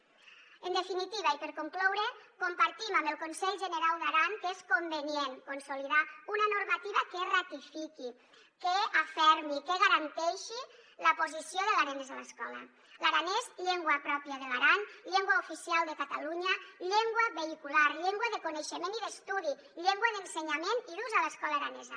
en definitiva i per concloure compartim amb el conselh generau d’aran que és convenient consolidar una normativa que ratifiqui que refermi que garanteixi la posició de l’aranès a l’escola l’aranès llengua pròpia de l’aran llengua oficial de catalunya llengua vehicular llengua de coneixement i d’estudi llengua d’ensenyament i d’ús a l’escola aranesa